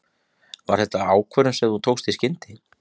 Var þetta ákvörðun sem þú tókst í skyndi?